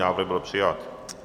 Návrh byl přijat.